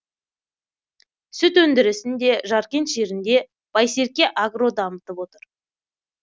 сүт өндірісін де жаркент жерінде байсерке агро дамытып отыр